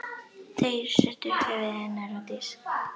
Þeir settu höfuð hennar á disk.